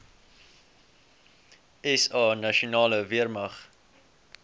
sa nasionale weermag